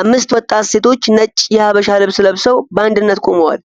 አምስት ወጣት ሴቶች ነጭ የሐበሻ ልብስ ለብሰው በአንድነት ቆመዋል።